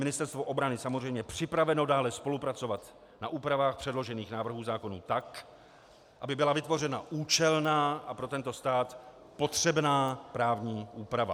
Ministerstvo obrany samozřejmě připraveno dále spolupracovat na úpravách předložených návrhů zákona tak, aby byla vytvořena účelná a pro tento stát potřebná právní úprava.